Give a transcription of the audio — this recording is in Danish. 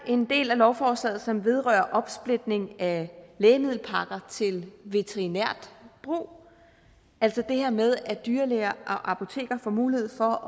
en del af lovforslaget som vedrører opsplitning af lægemiddelpakker til veterinært brug altså det her med at dyrlæger og apoteker får mulighed for